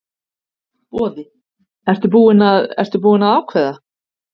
Boði: Ertu búinn að, ertu búinn að ákveða?